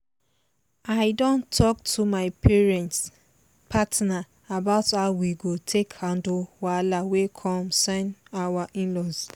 i don talk to my partner about how we go take handle wahala wey concern our in-laws